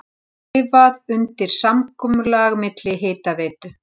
Skrifað undir samkomulag milli Hitaveitu